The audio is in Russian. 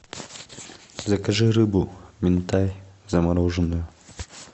закажи рыбу минтай замороженную